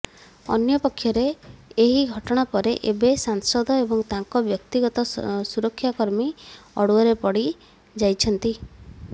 ଅନ୍ୟପକ୍ଷରେ ଏହି ଘଟଣା ପରେ ଏବେ ସାଂସଦ ଏବଂ ତାଙ୍କ ବ୍ୟକ୍ତିଗତ ସୁରକ୍ଷାକର୍ମୀ ଅଡ଼ୁଆରେ ପଡ଼ି ଯାଇଛନ୍ତି